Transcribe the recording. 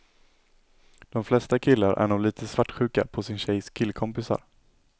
De flesta killar är nog lite svartsjuka på sin tjejs killkompisar.